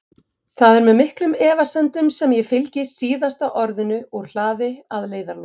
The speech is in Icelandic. Það er með miklum efasemdum sem ég fylgi SÍÐASTA ORÐINU úr hlaði að leiðarlokum.